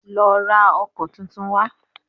Lọ ra ọkọ́ tuntun wá